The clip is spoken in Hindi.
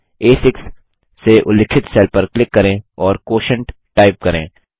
आ6 से उल्लिखित सेल पर क्लिक करें और क्वोटिएंट टाइप करें